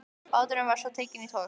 Báturinn var svo tekinn í tog.